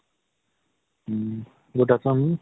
um good afternoon